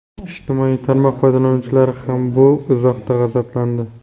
Ijtimoiy tarmoq foydalanuvchilari ham bu izohdan g‘azablandi.